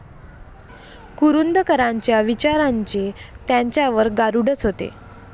कुरूंदकरांच्या विचारांचे त्यांच्यावर गारूडच होते.